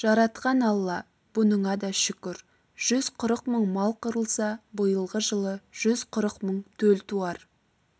жаратқан алла бұныңа да шүкір жүз қырық мың мал қырылса биылғы жылы жүз қырық мың төл туар